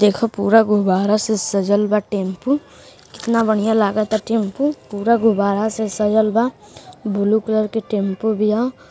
देख पूरा गुब्बारा से सजल बा टेंपू । कितना बढ़िया लागता टेंपू पूरा गुबारा से सजल बा। बुलु कलर के टेंपू बिया।